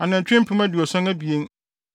anantwi mpem aduɔson abien (72,000);